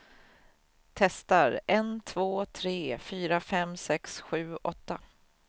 Testar en två tre fyra fem sex sju åtta.